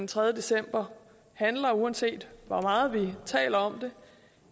tredje december handler uanset hvor meget vi taler om